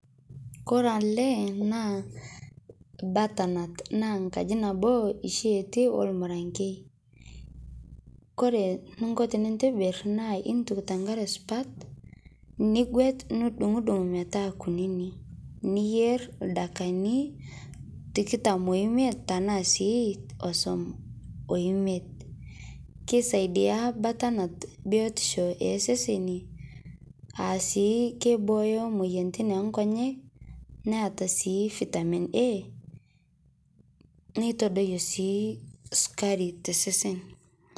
kore alee naa butter nut naa nkaji nabo shi etii olmuranke kore ninko tinintibir naa intuk tankare supat niguet nidung dung metaa kunini niyer ldakikani tikitam eimet tanaa sii osom oimet keisaidia butter nut biotisho ee seseni aasii keibooyo moyaritin enkonyek naata sii vitamin A neitodoyoo sii sukari te sesen